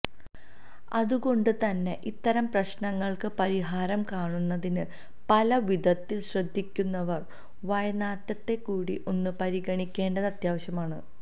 അതുകൊണ്ട് തന്നെ ഇത്തരം പ്രശ്നങ്ങള്ക്ക് പരിഹാരം കാണുന്നതിന് പല വിധത്തില് ശ്രദ്ധിക്കുന്നവര് വായ്നാറ്റത്തെക്കൂടി ഒന്ന് പരിഗണിക്കേണ്ടത് അത്യാവശ്യമാണ്